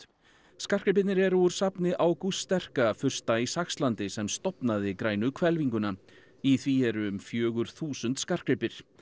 skartgripirnir eru úr safni Ágústs sterka fursta í Saxlandi sem stofnaði grænu hvelfinguna í því eru um fjögur þúsund skartgripir